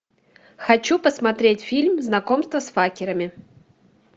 хочу посмотреть фильм знакомство с факерами